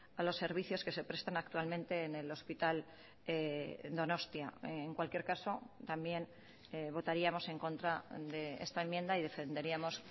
a los servicios que se prestan actualmente en el hospital donostia en cualquier caso también votaríamos en contra de esta enmienda y defenderíamos